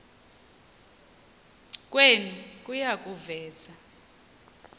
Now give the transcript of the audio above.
kwenu kuya kuveza